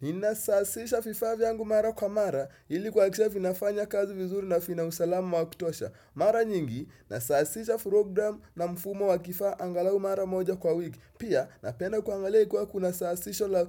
Ni nasasisha vifaa vyangu mara kwa mara ilikuhakikisha vinafanya kazi vizuri na vina usalama wa kutosha. Mara nyingi nasasisha program na mfumo wa kifaa angalau mara moja kwa wiki. Pia napenda kuangalia kwa kuna sasisha